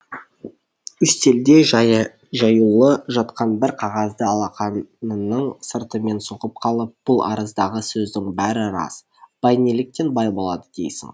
үстелде жаюлы жатқан бір қағазды алақанының сыртымен соғып қалып бұл арыздағы сөздің бәрі рас бай неліктен бай болады дейсің